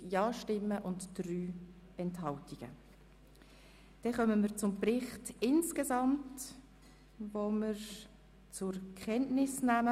Nun kommen wir zum Bericht insgesamt, den wir zur Kenntnis nehmen.